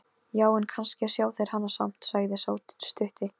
Já, en kannski sjá þeir hana samt, sagði sá stutti.